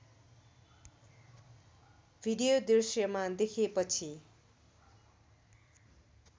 video दृश्यमा देखेपछि